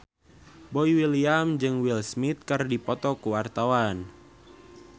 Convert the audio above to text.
Boy William jeung Will Smith keur dipoto ku wartawan